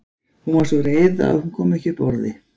Hún var svo reið að hún kom ekki upp orði.